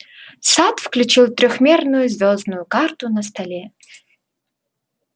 сатт включил трёхмерную звёздную карту на столе